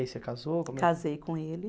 E aí você casou? Casei com ele